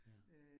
Ja